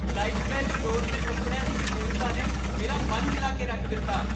Lifestyle store 'ਤੇ ਕੱਪੜਿਆਂ ਦੀ ਵਿਭਿੰਨਤਾ ਨੇ ਮੇਰਾ ਮਨ ਹਿਲਾ ਕੇ ਰੱਖ ਦਿੱਤਾ!